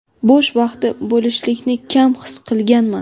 bo‘sh vaqti bo‘lishlikni kam his qilganman.